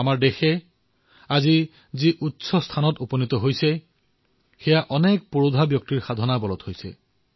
আমাৰ দেশ আজি যি উচ্চতাত আছে সেয়া এনে মহান বিভূতিৰ তপস্যাৰ ফলত সম্ভৱ হৈছে